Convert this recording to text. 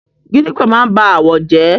Gidígbò máa n ba àwọ̀ jẹ́.